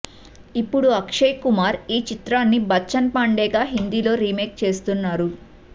ఇప్పుడు అక్షయ్ కుమార్ ఈ చిత్రాన్ని బచ్చన్ పాండే గా హిందీలో రీమేక్ చేస్తున్నారు